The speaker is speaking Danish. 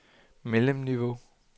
mellemniveau